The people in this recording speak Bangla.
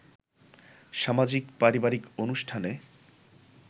সামাজিক-পারিবারিক অনুষ্ঠানে